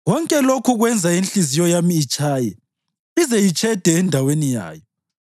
“Konke lokhu kwenza inhliziyo yami itshaye ize itshede endaweni yayo.